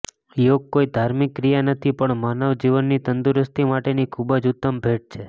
યોગ કોઇ ધાર્મિક ક્રિયા નથી પણ માનવ જીવનની તંદુરસ્તી માટેની ખુબજ ઉતમ ભેટ છે